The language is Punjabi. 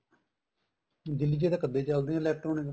ਦਿੱਲੀ ਚ ਤਾਂ ਕੱਦੇ ਚੱਲਦੇ ਏ electronic